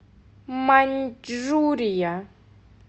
маньчжурия